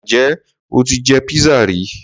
Ǹjẹ́ o ti jẹ pizza ri?